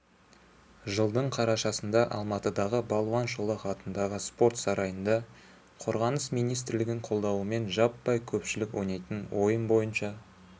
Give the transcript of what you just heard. жылдың қарашасында алматыдағы балуан шолақ атындағы спорт сарайында қорғаныс министрлігінің қолдауымен жаппай көпшілік ойнайтын ойын бойынша